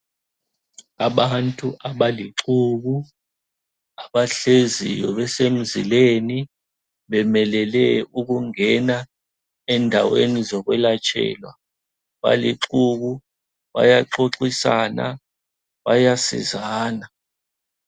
Abantu abalixuku abahleziyo besemzileni. Bemelele ukungena endaweni zokwelatshelwa balixuku bayaxoxisana bayasizana.